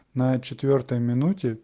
на четвёртой минуте